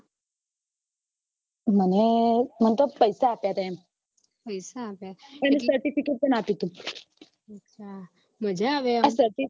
મને મને તો પૈસા આપ્યા હતા એમ અને એનું certificate પણ આપ્યું હતું આ certificate